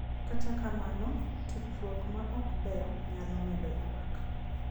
Kata kamano, tudruok ma ok ber nyalo medo ywak.